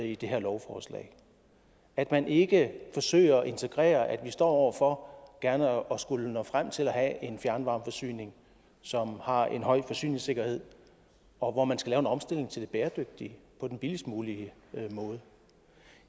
i det her lovforslag at man ikke forsøger at integrere at vi står over for gerne at skulle nå frem til at have en fjernvarmeforsyning som har en høj forsyningssikkerhed og hvor man skal lave en omstilling til det bæredygtige på den billigst mulige måde